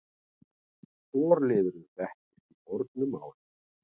Forliðurinn þekkist í fornu máli.